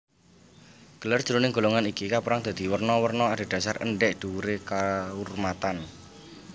Gelar jroning golongan iki kapérang dadi werna werna adhedhasar endhèk dhuwuré kaurmatan